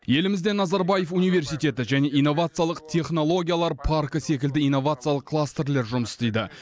елімізде назарбаев университеті және инновациялық технологиялар паркі секілді инновациялық кластерлер жұмыс істейді